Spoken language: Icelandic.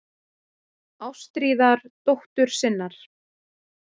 Ástríðar dóttur sinnar.